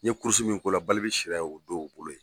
N ye kurusi min ko la, Balbi sira ye o don o bolo ye.